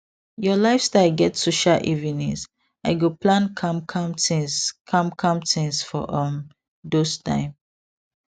your lifestyle get social evenings i go plan calm calm things calm calm things for um those time